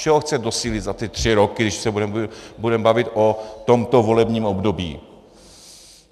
Čeho chce docílit za ty tři roky, když se budeme bavit o tomto volebním období?